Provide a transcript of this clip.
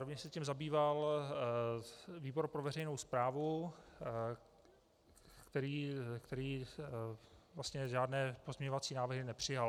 Rovněž se tím zabýval výbor pro veřejnou správu, který vlastně žádné pozměňovací návrhy nepřijal.